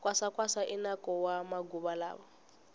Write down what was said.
kwasa kwasa i nako wa maguva lawa